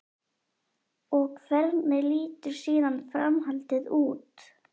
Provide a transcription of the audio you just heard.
Og hvernig lítur síðan framhaldið út?